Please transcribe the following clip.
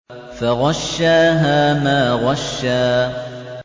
فَغَشَّاهَا مَا غَشَّىٰ